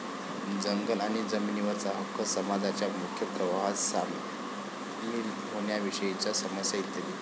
जंगल आणि जमिनीवरचा हक्क, समाजाच्या मुख्य प्रवाहात सामील होण्याविषयीच्या समस्या इत्यादी.